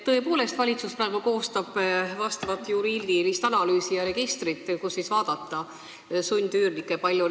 Tõepoolest, valitsus koostab praegu juriidilist analüüsi ja registrit, kust vaadata, kui palju meil sundüürnikke on.